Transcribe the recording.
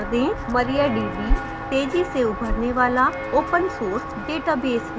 mariadb तेजी से उभरने वाला open source database है